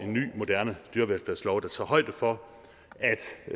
ny moderne dyrevelfærdslov der tager højde for